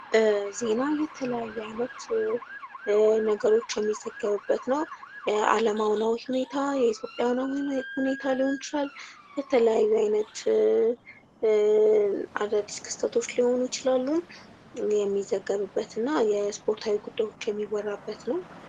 ዜና የተለያዩ አይነት ነገሮች የሚጠዘገቡበት ነው። የዓለም አሁናዊ ሁኔታ ፣የኢትዮጵያን ሁኔታ ሊሆን ይችላል ፤በተለያዩ ዓይነት አዳዲስ ክስተቶች ሊሆኑ ይችላሉ፤ ይህ የሚዘገቡበትና የስፖርታዊ ጉዳዮች የሚወራበት ነው።